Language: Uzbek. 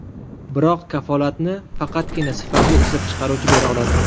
Biroq kafolatni faqatgina sifatli ishlab chiqaruvchi bera oladi.